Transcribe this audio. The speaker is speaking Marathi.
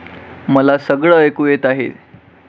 मला सगळं ऐकू येत आहे.